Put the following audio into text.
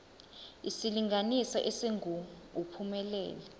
isilinganiso esingu uphumelele